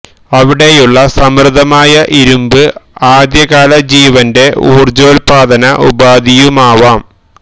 അവിടെയുള്ള സമൃദ്ധമായ ഇരുന്പ് ആദ്യ കാല ജീവന്റെ ഊർജോൽപ്പാദന ഉപാധിയുമാവാം